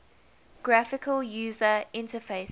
graphical user interfaces